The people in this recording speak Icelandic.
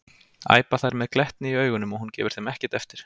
æpa þær með glettni í augunum og hún gefur þeim ekkert eftir.